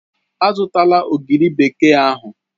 Azụla ogiri bekee ahụ!